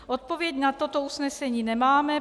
Odpověď na toto usnesení nemáme.